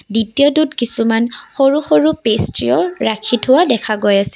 দ্বিতীয়টোত কিছুমান সৰু সৰু পেষ্ট্ৰীও ৰাখি থোৱা দেখা গৈ আছে।